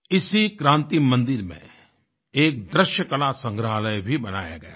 इसी क्रांति मंदिर में एक दृश्यकला संग्रहालय भी बनाया गया है